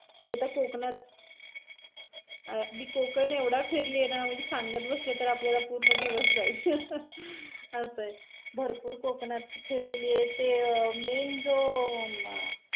मी आता कोकणात अं मी कोकण एवढं फिरलेली आहे न म्हणजे मी सांगत बसले न आपला पूर्ण दिवस जाईल, अस आहे. भरपूर कोकणात फिरलेली आहे. ते main जो अं